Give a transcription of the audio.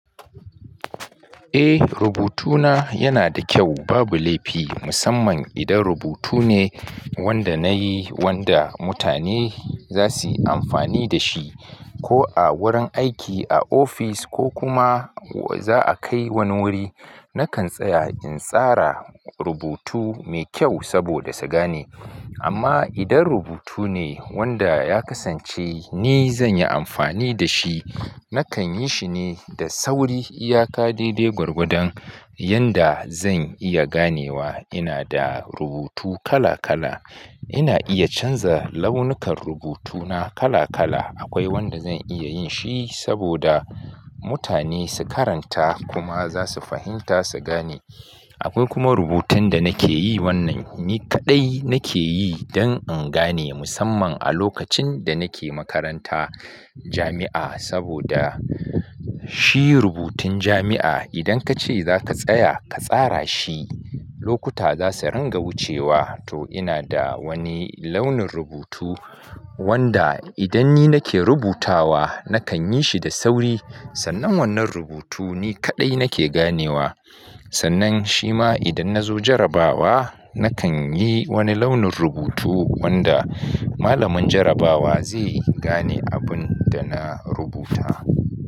Eh rubutuna yana da kyau babu laifi musamman idan rubutu ne wanda na yi wanda mutane za suyi amfani da shi ko a wurin aiki a ofis ko kuma za a kai wani wuri nakan tsaya in tsara rubutu mai kyau saboda su gane amma idan rubutu ne wanda ya kasance ni zan yi amfani da shi nakan yi shine da sauri iyaka daidai gwargwadon yanda zan iya ganewa ina da rubutu kala kala ina iya canza launukan rubutuna kala kala akwai wanda zan iya yin shi saboda mutane su karanta kuma za su fahimta su gane akwai kuma rubutun da nake yi wannan ni kaɗai nake yi dan in gane musamman a lokacin da nake makaranta jami'a saboda shi rubutun jami'a idan kace zaka tsaya ka tsara shi lokuta za su ranga wucewa to ina da wani launin rubutu wanda idan ni nake rubutawa nakan yi shi da sauri sannan wannan rubutu ni kaɗai nake ganewa sannan shima idan na zo jarabawa nakan yi wani launin rubutu wanda malamin jarabawa zai gane abun da na rubuta.